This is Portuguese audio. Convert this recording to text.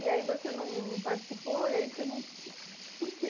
E aí você não não participou, e aí você não... Por quê?